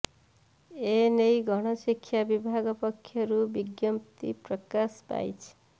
ଏ ନେଇ ଗଣ ଶିକ୍ଷା ବିଭାଗ ପକ୍ଷରୁ ବିଜ୍ଞପ୍ତି ପ୍ରକାଶ ପାଇଛି